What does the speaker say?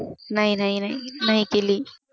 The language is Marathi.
नाही नाही नाही केली